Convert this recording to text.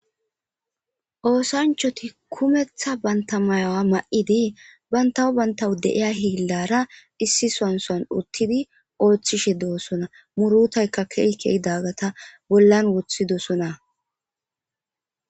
oosanchoti kumetha banta mayawa ma7idi bantawo bantawu deiya hiillara issi sansan uttidi ooththishe deosona murutaykka keeykey daggata bollan wothi dosona